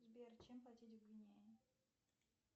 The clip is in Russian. сбер чем платить в гвинее